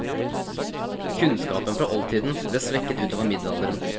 Kunnskapen fra oldtiden ble svekket utover middelalderen.